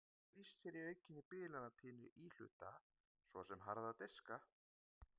Þau geta lýst sér í aukinni bilanatíðni íhluta, svo sem harðra diska.